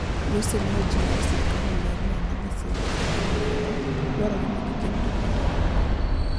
Lussi ne ojiwo ni serikal oler ane ni gisechiwo penjo ni ng'ano, dwarore ni giket ripot ayanga